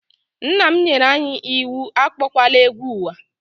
Nnam nyere anyị iwu akpowala egwu ụwa.